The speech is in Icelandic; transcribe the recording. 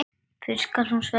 Fyrr skal hún svelta.